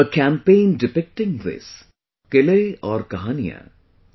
A campaign depicting this, 'Qile aur Kahaniyan' i